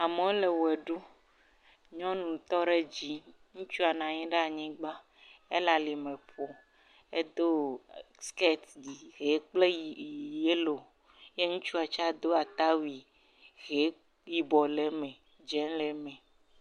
Amewo le ʋe ɖum nyɔnu tɔ ɖe dzi ŋutsu nɔ anyi ɖe anyigba ele alime ƒom, edo siketi hi kple yi...yellow, eye ŋutsua tse do awu ata wui he yibɔ le eme dzɛ̃ hã le eme.